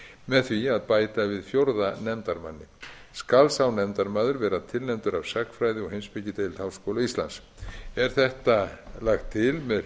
með því að bæta við fjórða nefndarmanni skal sá nefndarmaður vera tilnefndur af sagnfræði og heimspekideild háskóla íslands er þetta lagt til með